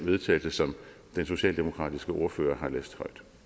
vedtagelse som den socialdemokratiske ordfører